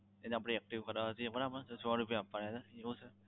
એને આપણે active કરવાના આપણે સો રૂપિયા આપવાના છે એવું sir